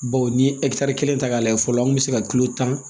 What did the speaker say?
Baw ni ye kelen ta k'a lajɛ fɔlɔ an kun be se ka kilo tan